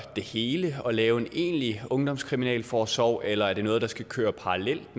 det hele og lave en egentlig ungdomskriminalforsorg eller er det noget der skal køre parallelt